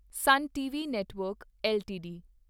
ਸੁਨ TV network LTD